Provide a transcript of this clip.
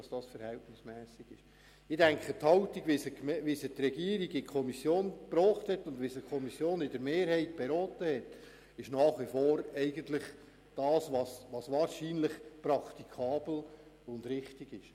Ich glaube, dass die Haltung, welche die Regierung in die Kommission eingebracht hat und welche die Mehrheit der Kommission beraten hat, wahrscheinlich nach wie vor praktikabel und richtig ist.